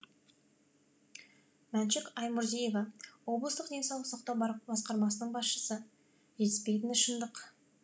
мәншүк аймұрзиева облыстық денсаулық сақтау басқармасының басшысы жетіспейтіні шындық